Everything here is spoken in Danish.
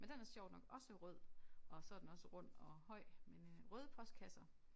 Men den er sjovt nok også rød og så den også rund og høj men øh røde postkasser